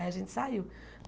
Aí a gente saiu.